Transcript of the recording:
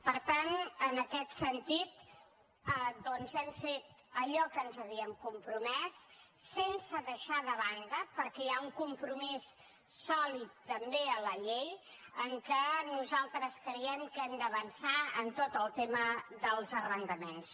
per tant en aquest sentit doncs hem fet allò a què ens havíem compromès sense deixar de banda perquè hi ha un compromís sòlid també a la llei que nosaltres creiem que hem d’avançar en tot el tema dels arrendaments